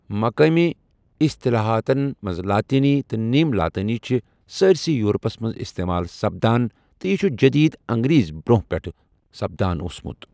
مقٲمی اِصطلاحاتن منز لاطینی تہٕ نیم لاطینی چھِ سٲرِسے یورپس منز استعمال سپدان تہٕ یہِ چھٗ جدید انگریز برونہہ پیٹھٕ سپدان اوسمُت ۔